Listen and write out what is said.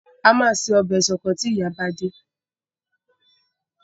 A máa se ọbẹ̀ ṣọkọ tí ìyá bá dé.